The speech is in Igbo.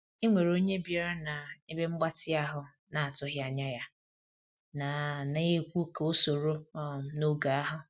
E nwere onye bịara na ebe mgbatị ahụ na atụghị anya ya, na na ekwu ka o soro um n'oge ahu